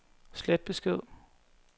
slet besked